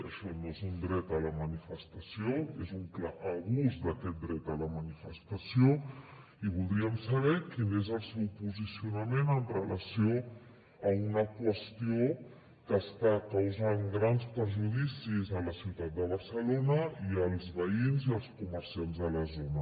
això no és un dret a la manifestació és un clar abús d’aquest dret a la manifestació i voldríem saber quin és el seu posicionament amb relació a una qüestió que està causant grans perjudicis a la ciutat de barcelona i als veïns i als comerciants de la zona